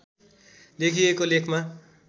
लेखिएको लेखमा